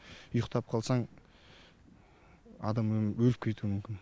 ұйықтап қалсаң адам өліп кетуі мүмкін